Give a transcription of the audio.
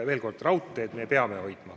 Veel kord: raudtee me peame alles hoidma.